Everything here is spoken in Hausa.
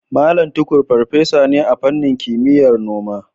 Mallam Tukur farfesa ne a fannin kimiyyar noma.